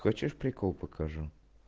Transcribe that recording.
хочешь прикол покажу